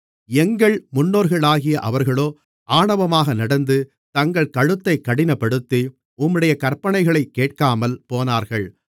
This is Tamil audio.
எங்கள் முன்னோர்களாகிய அவர்களோ ஆணவமாக நடந்து தங்கள் கழுத்தைக் கடினப்படுத்தி உம்முடைய கற்பனைகளைக் கேட்காமல் போனார்கள்